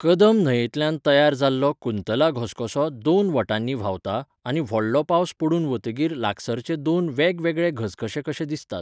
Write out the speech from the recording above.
कदम न्हंयेंतल्यान तयार जाल्लो कुंतला घसघसो दोन वटांनी व्हांवता आनी व्हडलो पावस पडून वतकीर लागसरचे दोन वेगवेगळे घसघशे कशे दिसतात.